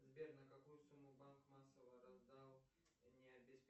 сбер на какую сумму банк массово раздал